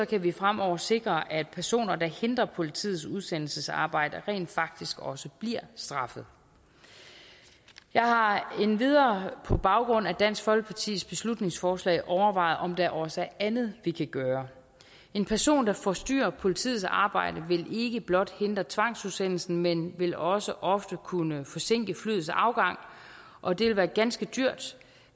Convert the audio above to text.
kan vi fremover sikre at personer der hindrer politiets udsendelsesarbejde rent faktisk også bliver straffet jeg har endvidere på baggrund af dansk folkepartis beslutningsforslag overvejet om der også er andet vi kan gøre en person der forstyrrer politiets arbejde vil ikke blot hindre tvangsudsendelsen men vil også ofte kunne forsinke flyets afgang og det vil være ganske dyrt